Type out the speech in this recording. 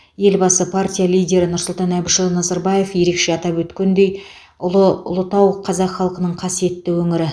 елбасы партия лидері нұрсұлтан әбішұлы назарбаев ерекше атап көрсеткендей ұлы ұлытау қазақ халқының қасиетті өңірі